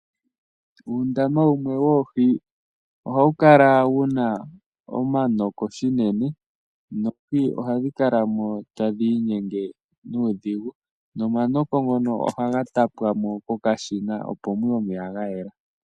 Uundama wumwe woohi ohawu kala wuna omanoko shinene noohi ohadhi kala mo tadhi inyenge nuudhigu. No manoko ngono ohaga tapwamo ko kashina opo muye omeya ga yela.